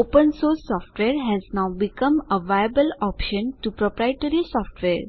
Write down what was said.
open source software has now become a viable option to proprietary software